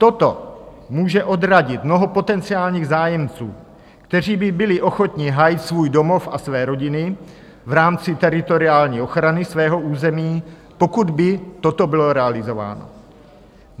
Toto může odradit mnoho potenciálních zájemců, kteří by byli ochotni hájit svůj domov a své rodiny v rámci teritoriální ochrany svého území, pokud by toto bylo realizováno.